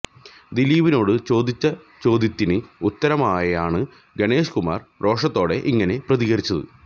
ദിലീപിനോട് ചോദിച്ച ചോദ്യത്തിന് ഉത്തരമായാണ് ഗണേഷ്കുമാര് രോഷത്തോടെ ഇങ്ങനെ പ്രതികരിച്ചത്